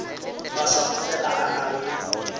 maswafo fela a nago le